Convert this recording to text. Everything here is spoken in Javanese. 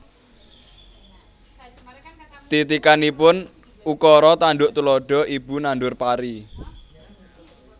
Titikanipun Ukara tanduk tuladha Ibu nandur pari